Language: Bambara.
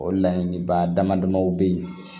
O laɲiniba dama damaw bɛ ye